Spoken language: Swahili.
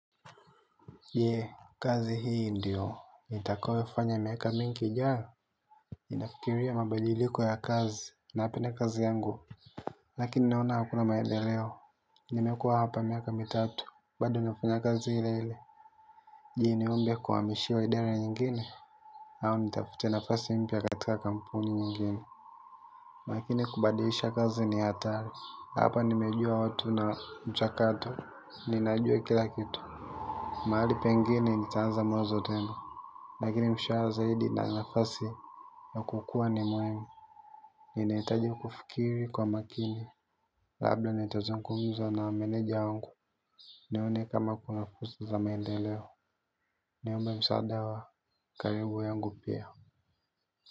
Yee, kazi hii ndiyo nitakayofanya miaka mingi ijayo? Ninafikiria mabadiliko ya kazi. Napenda kazi yangu. Lakini naona hakuna maendeleo, nimekuwa hapa miaka mitatu, bado nafanya kazi ile ile. Je, niombe kuhamishwa idara nyingine? Au nitafute nafasi mpya katika kampuni nyingine. Lakini kubadisha kazi ni hatari. Hapa nimejua watu na mchakato, ninajua kila kitu. Mahali pengine nitaanza mwanzo tena. Lakini mshahara zaidi na nafasi, na kukua ni muhimu. Ninahitaji kufikiri kwa makini. Labda nitazungumza na meneja wangu. Nione kama kuna fursa za maendeleo. Niombe msaada wa karibu yangu pia.